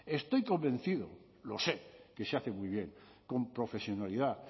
estoy convencido lo sé que se hace muy bien con profesionalidad